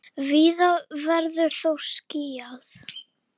Víða verður þó skýjað.